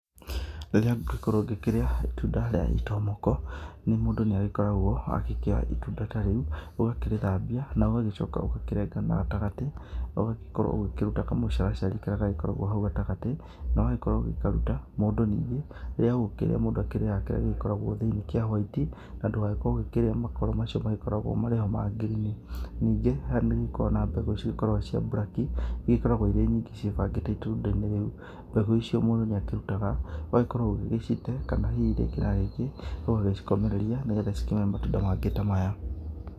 Rĩrĩa ngĩgĩkorwo ngĩkĩrĩa itunda rĩa itomoko, mũndũ nĩ agĩkoragwo agĩkĩoya itunda ta rĩu, ũgakĩrĩthambia na ũgagĩcoka ũgakĩrenga na gatagatĩ, ũgagĩkorwo ũgĩkĩruta kamũcaracari karĩa gagĩkoragwo hau gatagatĩ, na ũgagĩkorwo ũgĩkaruta. Mũndũ ningĩ rĩrĩa agũkĩrĩa mũndũ akĩrĩaga kĩrĩa gĩkoragwo thĩ-inĩ kĩa hwaiti, na ndũgagĩkorwo ũgĩkĩrĩa makoro macio magĩkoragwo marĩ ho ma ngirini. Ningĩ nĩ hagĩkoragwo na mbegũ iria cigĩkoragwo cia burak,i igĩkoragwo irĩ nyingĩ ciĩbangĩte itunda-inĩ rĩu. Mbegũ icio mũndũ nĩ akírutaga ũgagĩkorwo ũgĩgĩcite, kana hihi rĩngĩ na rĩngĩ ũgagĩcikomereria nĩgetha cikĩmere matunda mangĩ ta maya.